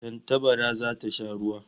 Tantabara zata sha ruwa